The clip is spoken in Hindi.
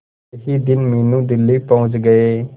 अगले ही दिन मीनू दिल्ली पहुंच गए